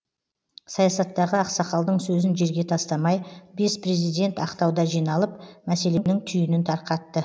саясаттағы ақсақалдың сөзін жерге тастамай бес президент ақтауда жиналып мәселенің түйінін тарқатты